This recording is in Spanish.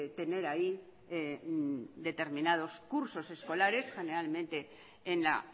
tener ahí determinados cursos escolares generalmente en la